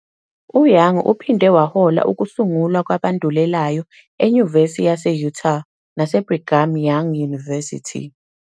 UYoung uphinde wahola ukusungulwa kwabandulelayo eNyuvesi yase-Utah naseBrigham Young University.